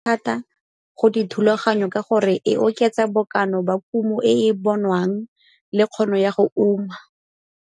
Thata go dithulaganyo ka gore e oketsa bokana ba kumo e e bonwang le kgono ya go uma.